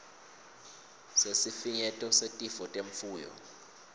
sesifinyeto setifo temfuyo